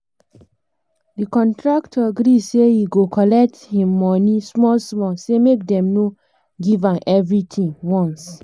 na so the business woman da check her bank statement make money wey wey bank da cut no too over